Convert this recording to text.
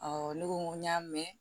ne ko n ko n y'a mɛn